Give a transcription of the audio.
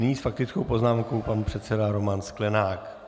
Nyní s faktickou poznámkou pan předseda Roman Sklenák.